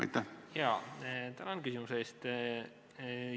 Tänan küsimuse eest!